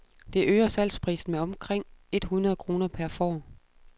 Det øger salgsprisen med omkring et hundrede kroner per får.